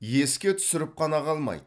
еске түсіріп қана қалмайды